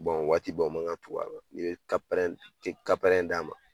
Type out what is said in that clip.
o waati bɛɛ u ma kan ka tugu a la ni ye d'a ma.